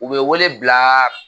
U bɛ wele bilaaa.